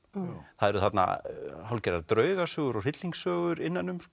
það eru þarna hálfgerðar draugasögur og hryllingssögur innan um